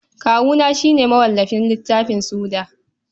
Kawuna shi ne mawallafin littafin Suda.